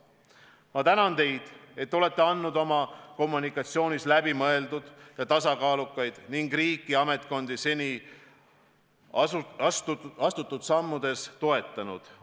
Ma tänan teid, et te olete andnud oma kommunikatsioonis läbimõeldud ja tasakaalukaid sõnumeid ning riiki ja ametkondi seni astutud sammudes toetanud.